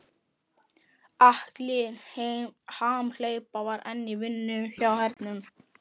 Alli hamhleypa var enn í vinnu hjá hernum.